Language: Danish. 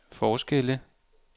forskelle